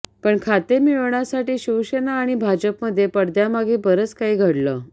पण खाते मिळवण्यासाठी शिवसेना आणि भाजपमध्ये पडद्यामागे बरंच काही घडलं